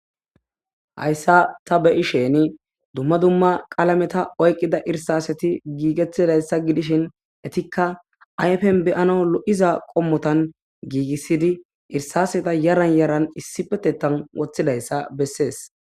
Hayssa ta beyi sheni dumma dumma qaalameta oyqqida irsaseti giigettidayssa gidishin etikka ayfen beyano lo'iza qommotan giigissidi irsaseta yaran yaran issipetetan woththidayssa bessees.